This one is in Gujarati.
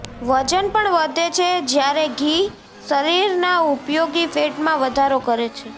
વજન પણ વધે છે જ્યારે ઘી શરીરના ઉપયોગી ફેટમાં વઘારો કરે છે